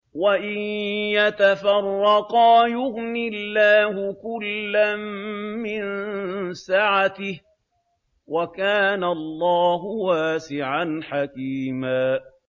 وَإِن يَتَفَرَّقَا يُغْنِ اللَّهُ كُلًّا مِّن سَعَتِهِ ۚ وَكَانَ اللَّهُ وَاسِعًا حَكِيمًا